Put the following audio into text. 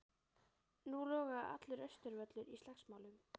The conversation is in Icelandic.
Nú logaði allur Austurvöllur í slagsmálum.